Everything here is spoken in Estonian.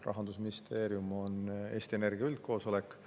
Rahandusministeerium on Eesti Energia üldkoosolek.